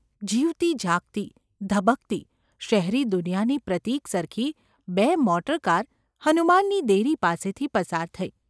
જીવતી જાગતી, ધબકતી, શહેરી દુનિયાની પ્રતીક સરખી બે મોટરકાર હનુમાનની દેરી પાસેથી પસાર થઈ.